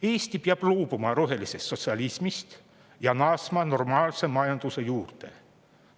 Eesti peab loobuma rohelisest sotsialismist ja naasma normaalse majanduse juurde.